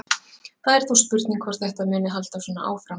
Það er þó spurning hvort þetta muni halda svona áfram.